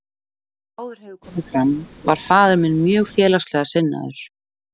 Eins og áður hefur komið fram var faðir minn mjög félagslega sinnaður.